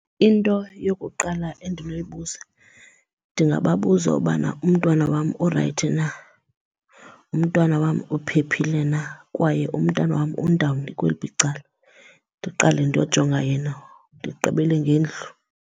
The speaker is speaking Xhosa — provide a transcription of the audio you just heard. Into yokuqala endinoyibuza ndingababuza ubana umntwana wam urayithi na, umntwana wam uphephile na kwaye umntana wam undawoni ukweliphi icala. Ndiqale ndiyojonga yena ndigqibele ngendlu.